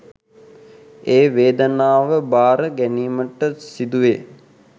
ඒ වේදනාව භාර ගැනීමට සිදුවේ